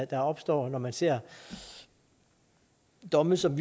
der opstår når man ser domme som